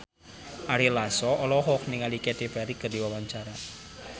Ari Lasso olohok ningali Katy Perry keur diwawancara